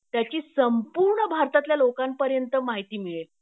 त्याची संपूर्ण भारतातल्या लोकांपर्यंत माहिती मिळेल